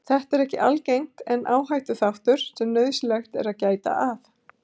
Þetta er ekki algengt en áhættuþáttur sem nauðsynlegt er að gæta að.